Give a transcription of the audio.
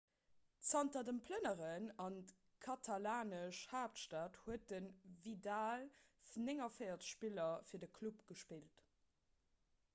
zanter dem plënneren an d'katalanesch haaptstad huet de vidal 49 spiller fir de club gespillt